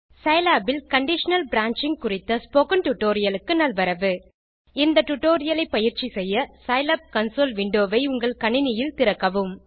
Scilab இல் conditional branching குறித்த spoken tutorial க்கு நல்வரவு இந்த டியூட்டோரியல் ஐ பயிற்சி செய்ய சிலாப் கன்சோல் விண்டோ வை உங்கள் கணினியில் திறக்கவும்